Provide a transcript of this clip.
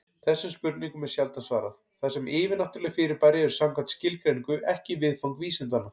Þessum spurningum er sjaldan svarað, þar sem yfirnáttúruleg fyrirbæri eru samkvæmt skilgreiningu ekki viðfang vísindanna.